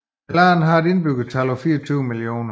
Landet har et indbyggertal på cirka 24 mio